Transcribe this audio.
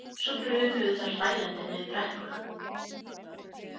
Svo brunuðu þær hlæjandi niður brekkuna.